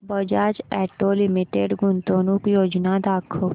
Bajaj auto limited गुंतवणूक योजना दाखव